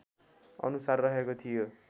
अनुसार रहेको थियो